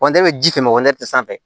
e bɛ ji kɛmɛ sanfɛ